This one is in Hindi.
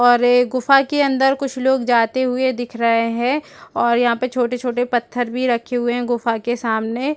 और गुफा के अंदर कुछ लोग जाते हुए दिख रहे हैं और यहां पर छोटे-छोटे पत्थर भी रखे हुए हैं गुफा के सामने।